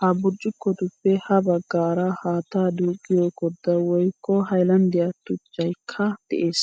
Ha burccukkotuppe ha baggaara haatta duuqiyo koda woykko haylandiya tuchchaykka de'ees.